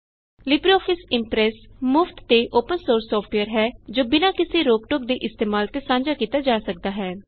LibreOffice Impress ਮੁਫਤ ਤੇ open source software ਹੈ ਜੋ ਬਿਨਾ ਕਿਸੀ ਰੋਕ ਟੋਕ ਦੇ ਇਸਤੇਮਾਲ ਤੇ ਸਾਂਝਾ ਕੀਤਾ ਜਾ ਸਕਦਾ ਹੈ